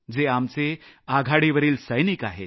ते आपले आघाडीवरील सैनिक आहेत